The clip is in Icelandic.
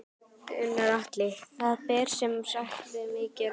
Gunnar Atli: Það ber sem sagt mikið á milli?